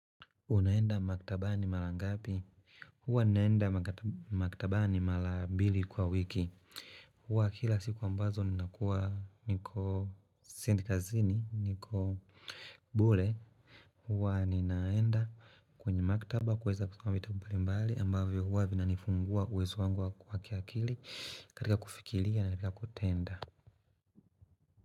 Unaenda maktabani mara ngapi? Huwa naenda maktabani mara mbili kwa wiki. Huwa kila siku ambazo ninakuwa niko siendi kazini, niko bure. Huwa ninaenda kwenye maktaba kuweza kusoma vitabu mbali mbali ambavyo huwa vinanifungua uwezo wangu wa kiakili katika kufikiria na katika kutenda.